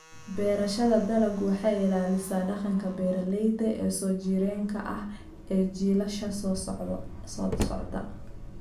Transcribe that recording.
Beerashada dalaggu waxay ilaalisaa dhaqanka beeralayda ee soo jireenka ah ee jiilasha soo socda.